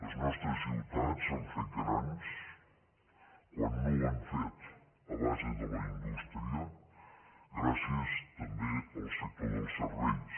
les nostres ciutats s’han fet grans quan no ho han fet a base de la indústria gràcies també al sector dels serveis